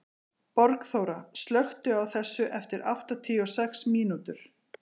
Borgþóra, slökktu á þessu eftir áttatíu og sex mínútur.